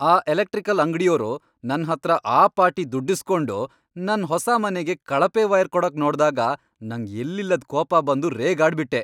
ಆ ಎಲೆಕ್ಟ್ರಿಕಲ್ ಅಂಗ್ಡಿಯೋರು ನನ್ಹತ್ರ ಆ ಪಾಟಿ ದುಡ್ಡಿಸ್ಕೊಂಡು ನನ್ ಹೊಸ ಮನೆಗೆ ಕಳಪೆ ವೈರ್ ಕೊಡಕ್ ನೋಡ್ದಾಗ ನಂಗ್ ಎಲ್ಲಿಲ್ಲದ್ ಕೋಪ ಬಂದು ರೇಗಾಡ್ಬಿಟ್ಟೆ.